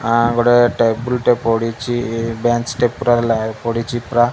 ଆଁ ଗୋଟେ ଟେବୁଲ୍ ଟେ ପଡ଼ିଚି ଇଏ ବେଞ୍ଚ ଟେ ପୁରା ଲାଇଟ୍ ପଡ଼ିଚି ପୁରା।